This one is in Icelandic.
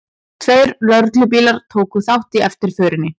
Tveir lögreglubílar tóku þátt í eftirförinni